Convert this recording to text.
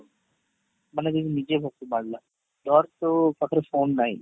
ମାନେ ଯିଏ ନିଜେ ମାରିଲା ତା'ର ତ ପାଖରେ phone ନାଇଁ